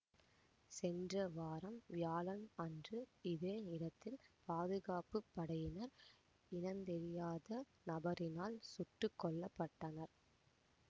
சென்ற வாரம் வியாழன் அன்று இதே இடத்தில் பாதுகாப்பு படையினர் இனந்தெரியாத நபரினால் சுட்டு கொல்ல பட்டனர்